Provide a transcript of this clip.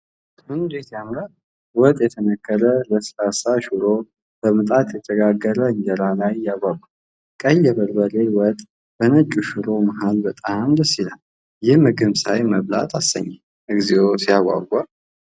እንዴት ያምራል! ወጥ የተነከረው ለስላሳ ሽሮ በምጣድ የተጋገረ እንጀራ ላይ ያጓጓል። ቀይ የበርበሬ ወጥ በነጩ ሽሮ መሃል በጣም ደስ ይላል። ይህን ምግብ ሳይ መብላት አሰኘኝ። እግዚኦ ሲያጓጓ!